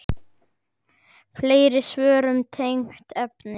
Fleiri svör um tengd efni